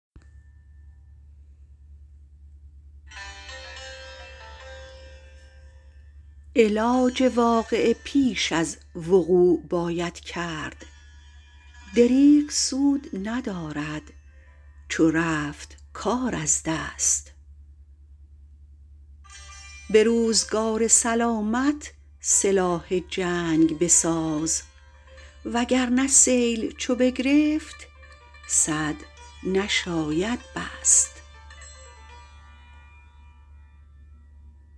علاج واقعه پیش از وقوع باید کرد دریغ سود ندارد چو رفت کار از دست به روزگار سلامت سلاح جنگ بساز وگرنه سیل چو بگرفت سد نشاید بست